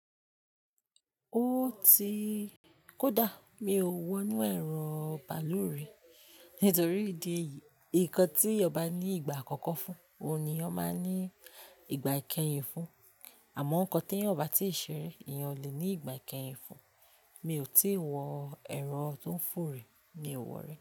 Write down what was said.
Ó ti-- kò dá, mi ò wọ nú ẹ̀rọ bàlúù rí nítorí ìdí èyí, nkan tí èèyàn bá ní ìgbà àkọ́kọ́ fún, òun ni wọ́n má ní ìgbà ìkẹhìn fún. Àmọ́ nkan tí èèyàn ò bá tí ṣẹ̀rẹ̀, èèyàn lè ní ìgbà ìkẹhìn fún. Mi ò tí wọ ẹ̀rọ tí ó ńfò rí, mi ò wọ̀ rí.